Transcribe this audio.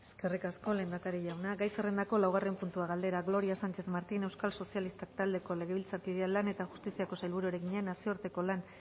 eskerrik asko lehendakari jauna gai zerrendako laugarren puntua galdera gloria sánchez martín euskal sozialistak taldeko legebiltzarkideak lan eta justiziako sailburuari egina nazioarteko lan